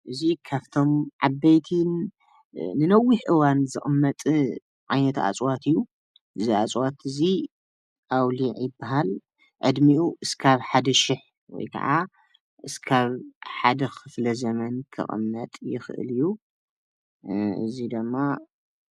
እዚ ካብቶም ዓበይትን ንነዊሕ እዋን ዝቅመጥ ዓይነት እፅዋት እዩ፡፡ እዚ እፅዋት እዚ ኣውሊዕ ይባሃል፡፡ ዕድሚኡ እክሳብ 1000 ወይ ከዓ እክሳብ ሓደ ክፍለ ዘመን ክቅመጥ ይክእል እዩ፡፡ እዚ ድማ